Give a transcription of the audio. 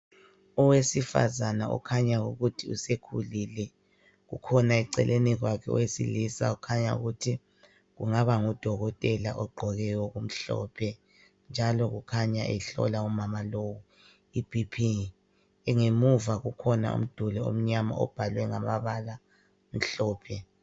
Owesifazana okhanya ukuthi usekhulile. kukhona eceleni kwakhe owesilisa okhanya ukuthi kungabangudokotela ogqoke okumhlophe. Njalo kukhanya ehlola umama lowu iBP. Ngemuva kukhona umduli omnyama obhalwe ngamabala amhlophe.